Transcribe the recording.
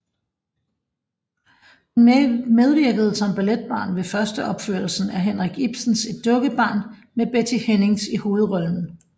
Hun medvirkede som balletbarn ved førsteopførelsen af Henrik Ibsens Et Dukkehjem med Betty Hennings i hovedrollen